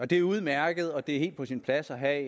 det er udmærket og det er helt på sin plads at have